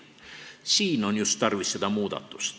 Just siin on muudatust tarvis.